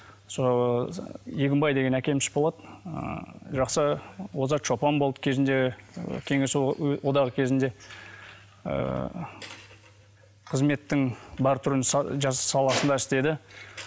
сол егінбей деген әкеміз болады ы жақсы озат шопан болды кезінде ы кеңес одағы кезінде ыыы қызметтің бар түрін саласында істеді